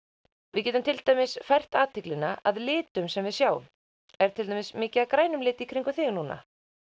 við getum til dæmis fært athyglina að litum sem við sjáum er til dæmis mikið af grænum lit í kringum þig núna